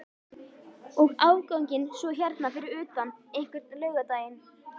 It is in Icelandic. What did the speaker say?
Og afganginn svo hérna fyrir utan einhvern laugardaginn?